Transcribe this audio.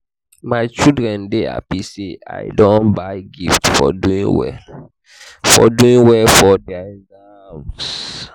my children dey happy say i buy dem gift for doing well for doing well for their exam